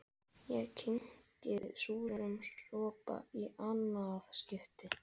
Ég kyngi súrum sopa í annað skipti.